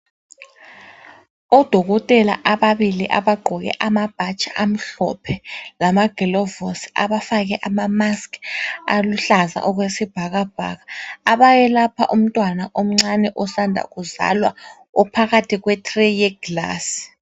Odokotela ababili abagqoke amabhatshi amhlophe lamagilovosi abafake amamaski aluhlaza okwesibhakabhaka abayelapha umntwana omncane osanda kuzalwa ophakathi kwetreyi yeglasi.